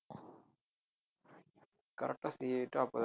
correct ஆ CAA